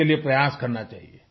इसके लिए प्रयास करना चाहिए